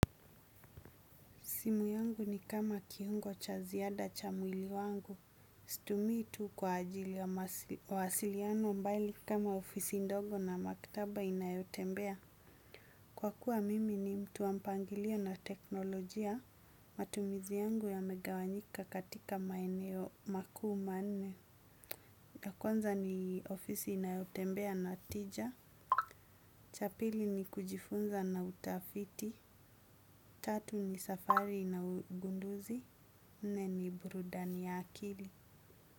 Simu yangu ni kama kiungo cha ziada cha mwili wangu. Situmii tu kwa ajili ya wasiliano mbali kama ofisi indogo na makitaba inayotembea. Kwa kuwa mimi ni mtu wa mpangilio na teknolojia. Matumizi yangu yame gawanyika katika maeneo makuu manne. Na kwanza ni ofisi inayotembea na tija. Cha pili ni kujifunza na utafiti. Tatu ni safari na ugunduzi. Nne ni burudani ya akili.